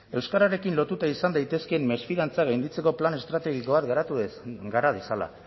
euskararekin lotuta izan daitezkeen mesfidantza gainditzeko plan estrategiko bat gara dezala